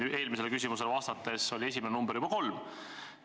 Eelmisele küsimusele vastates oli ekraanil esimene number juba kolm.